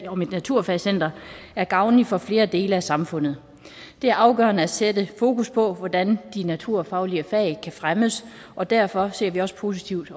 om et naturfagscenter er gavnligt for flere dele af samfundet det er afgørende at sætte fokus på hvordan de naturfaglige fag kan fremmes og derfor ser vi også positivt